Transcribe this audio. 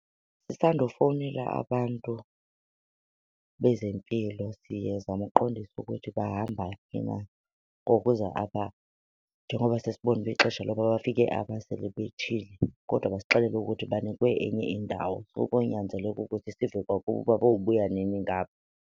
Sisandufowunela abantu bezempilo sizama ukuqondisa ukuthi bahamba phi na ngokuza apha njengoba sesibonile uba ixesha loba bafike apha selibethile, kodwa basixelela ukuthi banikwe enye indawo. So konyanzeleka ukuthi sive kwakubo uba bobuya nini ngapha.